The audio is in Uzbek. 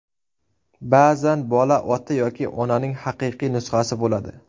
Ba’zan bola ota yoki onaning haqiqiy nusxasi bo‘ladi.